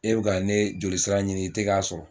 E bɛ ka ne jolisira ɲini i tɛ k'a sɔrɔ